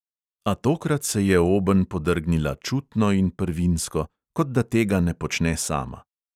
A tokrat se je obenj podrgnila čutno in prvinsko, kot da tega ne počne sama.